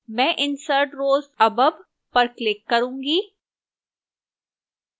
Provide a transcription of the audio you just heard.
मैं insert rows above पर click करूंगी